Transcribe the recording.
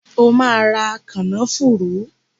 O ma ra “kànnáfùrù".!